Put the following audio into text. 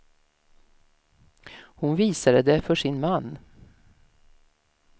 Hon visade det för sin man.